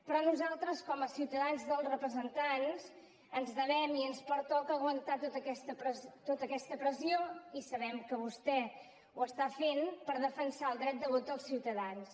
però nosaltres com a representants dels ciutadans ens devem i ens pertoca aguantar tota aquesta pressió i sabem que vostè ho està fent per defensar el dret de vot dels ciutadans